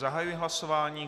Zahajuji hlasování.